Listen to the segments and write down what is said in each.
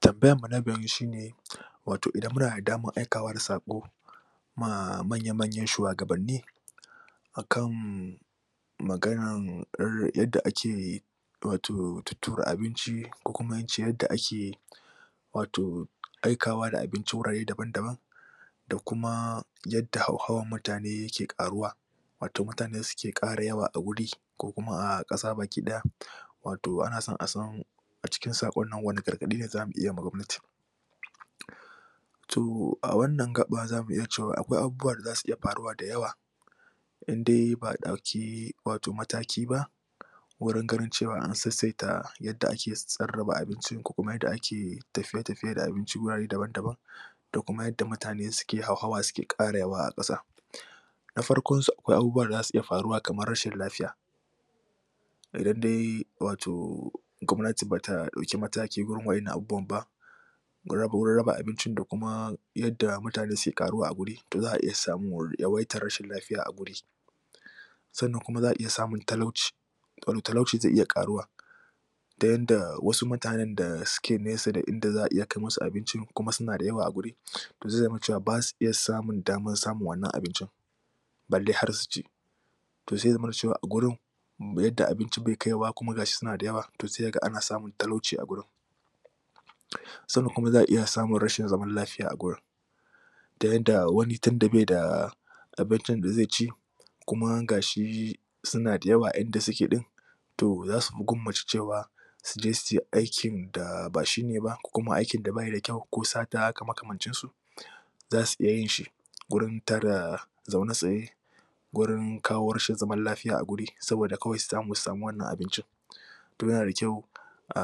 Tambayarmu na gaba shi ne wato idan muna da damar aikawa da saƙo ma manya-manyan shuwagabanni a kan maganar yadda ake wato tuttura abinci ko kuma in ce yadda ake wato aikawa da abinci wurare dabam-daban da kuma yadda hauhawan mutane yake ƙaruwa wato mutane suke ƙara yawa a wuri ko kuma a ƙasa baki ɗaya. wato ana son a san a cikin saƙon nan wane gargaɗi ne za mu yi wa gwamnati. To a wannan gaɓa za mu iya cewa akwai abubuwa da za su iya faruwa da yawa in da a ɗauki wato mataki ba Wurin ganin cewa an sassaita yadda ake sarrafa abincin ko kuma yadda ake tafiye-tafiye da abincin wurare dabam-daban da kuma yadda mutane suke hauhawa suke ara yawa a ƙasa, Na farkonsu akwai abubuwa da za su iya faruwa kamar rashin lafiya, Idan dai wato gwamnati ba ta ɗauki mataki ba gurin waɗannan abubuwan ba, gurin raba abincin da kuma yadda mutane suke ƙaruwa a guri to za a iya samun yawaitar rashin lafiya a guri. Sannan kuma za aiya samun talauci domin talauci zai iya ƙaruwa. ta yanda wasu mutanen da suke nesa da inda za a iya kai musu abinci kuma suna da yawa a guri. zai zama cewa ba sa iya samun damar samun wannan abincin. balle har su ci. to zai zamana cewa a gurin da yadda abinci bai kaiwa kuma ga shi suna da yawa to sai ka ga ana samun talauci a gurin. sannan kuma za a iya samun rashin zaman lafiya a gurin. ta yadda wani tunda bai da abincin da zai ci, kuma ga shi suna da yawa a inda suke ɗin, to za su fi gwammace cewa, suje su yi aikin da ba shi kenan ba ko kuma aikin da ba ya da kyau ko sata haka makamancinsu. za su iya yin shi, gurin ta da zaune tsaye, Gurin kawo rashin zama lafiya a guri saboda kawai su samu su samu wannan abincin. to yana da kyau a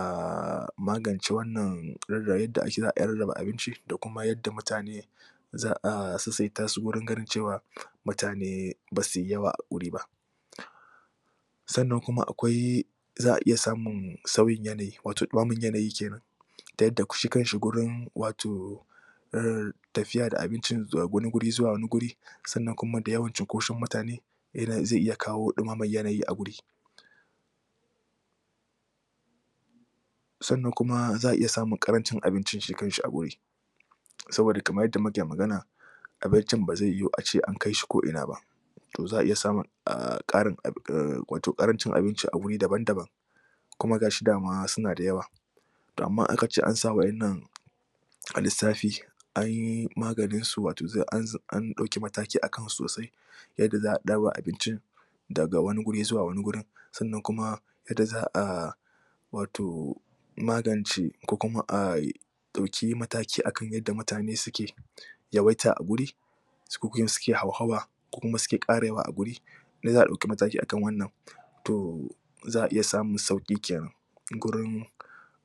magance wannan yadda za riƙa rarraba abinci da kuma yadda mutane za sassaita su wajen ganin cewa mutane ba su yi yawa a guri ba. Sannan kuma akwai, za a iya samun sauyin yanayi wato ɗumamar yanayi ke nan ta yadda shi kanshi gurin wato, tafiya da abincin daga wani guri zuwa wani guri sannan kuma da yawan cunkoson mutane shi ne zai iya kawo ɗumamar yani a guri. sannan kuma za a iya samun ƙarancin abincin shi kanshi a guri. saboda kamar yadda muke magana abincin ba zai yiwu a ce an kaishi ko'ina ba. to za a iya samun ƙarin a wato ƙarancin abinci a wuri dabam-daban. kuma ga shi dama suna da yawa. to amma aka ce an sa waɗannan a lissafi an yi maganinsu wato an ɗauki mataki a kansu sosai yadda ɗar wa abincin daga wani guri zuwa wani gurin sannan kuma yadda za a wato magance ko kuma a ɗauki mataki a kan yadda mutane suke yawaita a guri suke hauhawa kuma suke ƙara yawa a guri yadda za ɗauki matki akan wannan to, za a iya samun sauƙi ke nan. gurin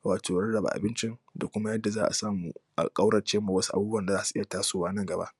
wato rarraba abincin da kuma yadda za a samu a ƙaurace ma waɗansu abubuwan da za su iya tasowa nan gaba.